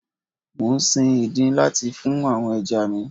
Mò ń sin ìdin láti fún àwọn ẹja mi.